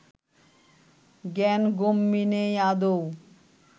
জ্ঞানগম্যি নেই আদৌ